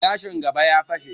Gilashin gaba ya fashe